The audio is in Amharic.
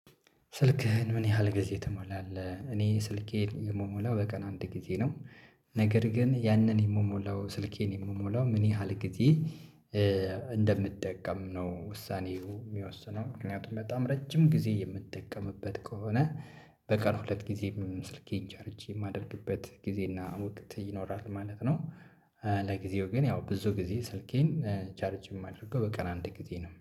ስልክህን ምን ያህል ጊዜ ትሞላለህ? እኔ ስልኬን የምሞላው በቀን አንድ ጊዜ ነው። ነገር ግን ያንን የምሞላው ስልኬን የምሞላው ምን ያህል ጊዜ? እንደምጠቀም ነው ውሳኔው የሚወስነው ምክንያቱም በጣም ረጅም ጊዜ የምትጠቀምበት ከሆነ። በቀን ሁለት ጊዜ ስልኬን ቻርጅ የማደርግበት ጊዜና ወቅት ይኖራል ማለት ነው። ለጊዜው ግን ያው ብዙ ጊዜ ስልኬን ቻርጅ የማደርገው በቀን አንድ ጊዜ ነው